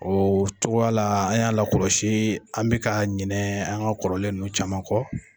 O cogoya la an y'a lakɔlɔsi an bɛ ka ɲinɛ an ka kɔrɔlen ninnu caman kɔ.